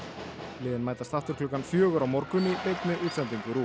liðin mætast aftur klukkan fjögur á morgun í beinni útsendingu RÚV